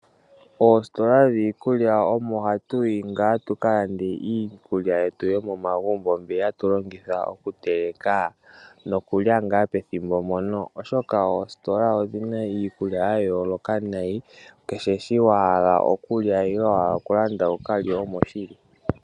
Oositola dhiikulya omo hatuyi tuka lande iikulya yetu yomomagumbo, mbi tatuteleke nokulya pethimbo mpoka. Oositola odhina iikulya yayooloka, kekehe shoka wahala okulya nenge okulanda omoshili.